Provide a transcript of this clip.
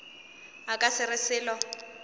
a ka se re selo